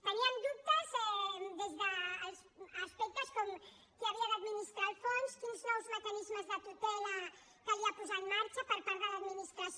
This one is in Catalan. teníem dubtes des dels aspectes com qui havia d’administrar el fons quins nous mecanismes de tutela calia posar en marxa per part de l’administració